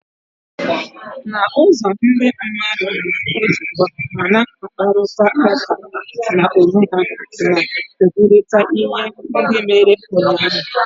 N'ụzọ, ndị mmadụ na-ezukọ ma na-akparịta ụka n'onwe ha, na-ekwurịta ihe ndị mere ụnyaahụ.